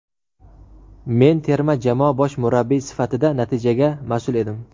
Men terma jamoa bosh murabbiyi sifatida natijaga mas’ul edim.